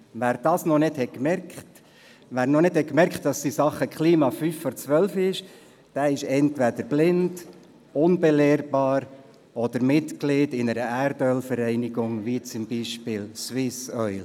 Wer dies noch nicht gemerkt hat, wer noch nicht gemerkt hat, dass es in Sachen Klima fünf vor zwölf ist, ist entweder blind, unbelehrbar oder Mitglied einer Erdölvereinigung wie zum Beispiel Swissoil.